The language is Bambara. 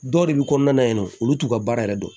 Dɔw de bi kɔnɔna na yennɔ olu t'u ka baara yɛrɛ dɔn